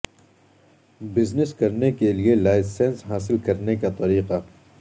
business کرنے کے لئے لائسنس حاصل کرنے کا طریقہ